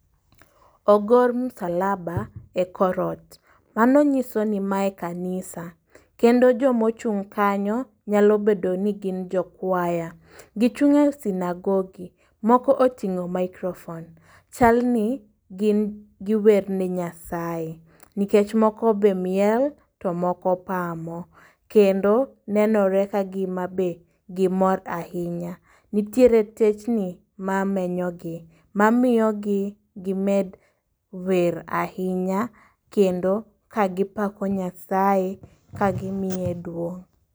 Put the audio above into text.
Ogor msalaba e korot, mano nyiso ni mae kanisa. Kendo jomochung' kanyo nyalo bedo ni gin jo kwaya, gichung' e sinagogi, moko oting'o maikrofon. Chalni giwer e Nyasaye, nikech moko be miel to moko pamo. Kendo nenore ka gima be gimor ahinya, nitiere techni ma menyo gi, ma miyo gi med wer ahinya. Kendo ka gipako Nyasaye, ka gimiye duong'.